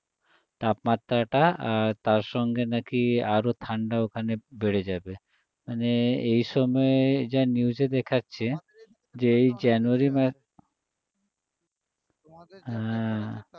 তাপমাত্রাটা তার সঙ্গে নাকি আরও ঠান্ডা ওখানে বেড়ে যাবে মানে এসময়ে যা news এ দেখাচ্ছে যে এই january মা~ হ্যাঁ